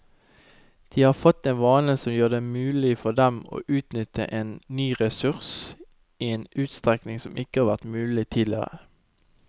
De har fått en vane som gjør det mulig for dem å utnytte en ny ressurs i en utstrekning som ikke var mulig tidligere.